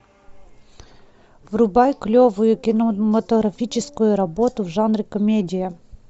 врубай клевую кинематографическую работу в жанре комедия